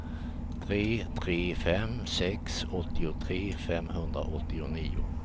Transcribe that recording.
tre tre fem sex åttiotre femhundraåttionio